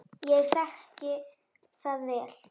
Ég þekki það vel.